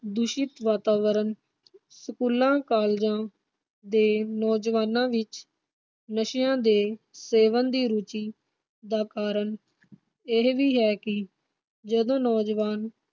ਦੂਸ਼ਿਤ ਵਾਤਾਵਰਨ ਸਕੂਲਾਂ, ਕਾਲਜਾਂ ਦੇ ਨੌਜਵਾਨਾਂ ਵਿਚ ਨਸ਼ਿਆਂ ਦੇ ਸੇਵਨ ਦੀ ਰੁਚੀ ਦਾ ਕਾਰਨ ਇਹ ਵੀ ਹੈ ਕਿ ਜਦੋ ਨੌਜਵਾਨ